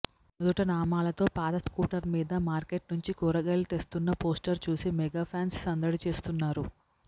నుదుట నామాలతో పాత స్కూటర్ మీద మార్కెట్ నుంచి కూరగాయలు తెస్తూన్న పోస్టర్ చూసి మెగా ఫాన్స్ సందడి చేస్తున్నారు